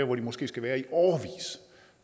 hvor de måske skal være